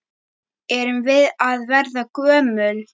Erum við að verða gömul?